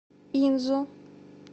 инзу